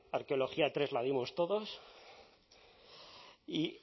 arqueología tres la dimos todos y